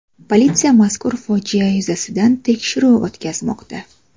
Politsiya mazkur fojia yuzasidan tekshiruv o‘tkazmoqda.